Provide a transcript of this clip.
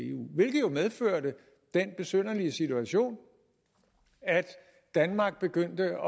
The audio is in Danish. eu hvilket medførte den besynderlige situation at danmark begyndte